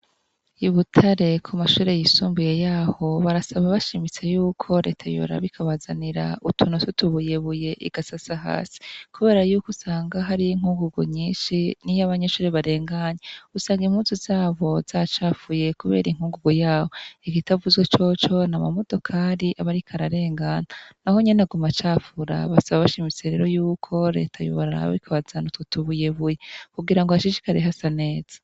I Butare ku mashure y'isumbuye yaho barasaba bashimise y'uko reta yubora bikabazanira utuno tutubuyebuye igasasa hasi. Kubera yuko usanga hariyo inkungugu nyinshi n'iy' abanyeshure barenganye usanga impunsu zabo zacafuye kubera inkungugu yaho igitavuzwe coco n amamodokari abarikararengana naho nyenaguma acafura basaba bashimise rero y'uko reta yuborar bikabazani tutubuyebuye kugira ngo hashishikare hasa neza.